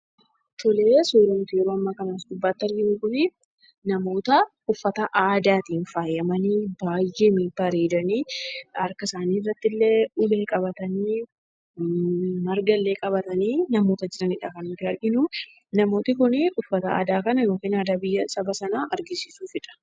Suuraawwan as gubbaatti arginu kun namoota uffata aadaatiin faayamanii baay'ee bareedanii harka isaanii irrattillee ulee qabatanii margallee qabatanii namoota jiranidha kan nuti arginu. Namoonni kun uffata kan yookiin aadaa biyya kanaa agarsiisuufidha.